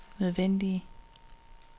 nødvendige